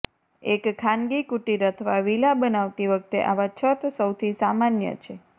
એક ખાનગી કુટીર અથવા વિલા બનાવતી વખતે આવા છત સૌથી સામાન્ય છે